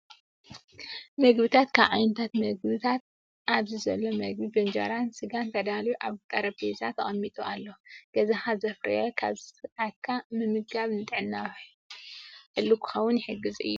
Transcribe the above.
ምግብታት፦ ካብ ዓይነታት ምግብያት ኣብዚ ዘሎ ምግቢ ብእንጀራን ስጋን ተዳልዩ ኣብ ጠሬጰዛ ተቀሚጡ ኣሎ። ገዛካ ዘፍርዮ ኣብ ሰዓትካ ምምጋብ ንጥዕና ሕልው ክከውን ይግዝ እዩ።